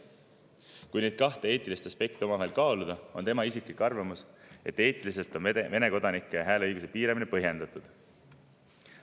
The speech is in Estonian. Kui neid kahte eetilist aspekti omavahel kaaluda, on tema isiklik arvamus, et eetiliselt on Vene kodanike hääleõiguse piiramine põhjendatud.